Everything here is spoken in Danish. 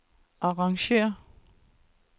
arrangér